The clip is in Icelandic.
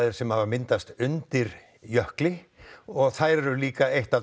sem hafa myndast undir jökli þær eru líka eitt af